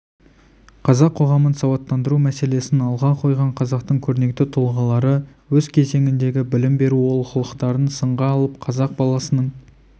қазақ қоғамын сауаттандыру мәселесін алға қойған қазақтың көрнекті тұлғалары өз кезеңіндегі білім беру олқылықтарын сынға алып қазақ баласының